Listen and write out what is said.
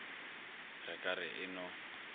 re ka re e no